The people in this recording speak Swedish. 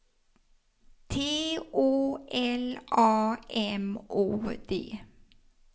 T Å L A M O D